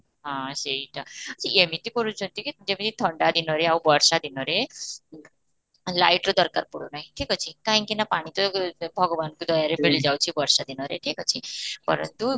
ହଁ, ସେଇଟା ସେ ଏମିତି କରୁଛନ୍ତି କି ଯେମିତି ଥଣ୍ଡା ଦିନରେ ଆଉ ବର୍ଷ ଦିନରେ light ର ଦରକାର ପଡୁନାହିଁ ଠିକ ଅଛି, କାହିଁକି ନା ପାଣି ତ ଭଗବାନଙ୍କ ଦୟାରେ ମିଳି ଯାଉଛି ବର୍ଷା ଦିନରେ ଠିକ ଅଛି ପରନ୍ତୁ